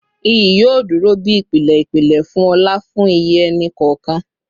Iyi yoo duro bi ipilẹ ipilẹ fun ọlá fun iye ẹni kọọkan